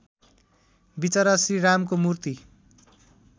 विचरा श्रीरामको मूर्ति